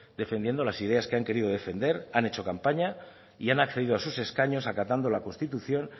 defendiendo las ideas que han querido defender han hecho campañas y han accedido a sus escaños acatando la constitución